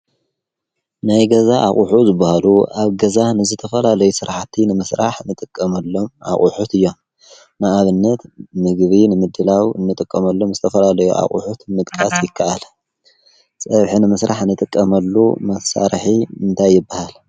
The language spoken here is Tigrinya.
ናይ ገዛ ኣቝሑ ዝብሃሉ ኣብ ገዛህንዘተፈላለይ ሥርሓቲ ንምሥራሕ ንጥቀመሎም ኣቝሑት እዮም መኣብነት ምግቢ ንምድላዊ እንጥቆመሉ ምዝተፈላለይ ኣቝሑት ምቕቃስ ይከኣለ ጸብሕ ን ምሥራሕ ንጥቀመሉ መሣርሒ እንታይበሃል